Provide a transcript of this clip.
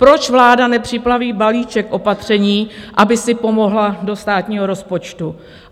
Proč vláda nepřipraví balíček opatření, aby si pomohla do státního rozpočtu?